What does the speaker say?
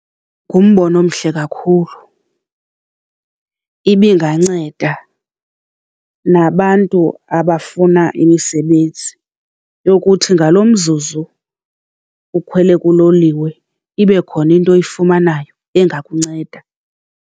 Ngumbono omhle kakhulu ibinganceda nabantu abafuna imisebenzi yokuthi ngalo mzuzu ukhwele kuloliwe ibe khona into oyifumanayo engakunceda.